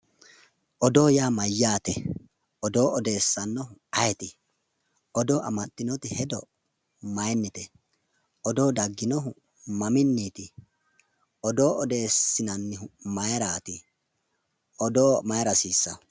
Odoo yaa mayate? Odoo odeessanohu ayiiti? Odoo amadinoti hedo mayinite? Odoo dagginohu maminiti? Odoo odeesinannohu mayirati? Odoo mayra hasiisaho ?